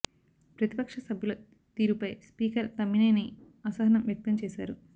ప్రతిపక్ష సభ్యుల తీరు పై స్పీకర్ తమ్మినేని అసహనం వ్యక్తం చేశారు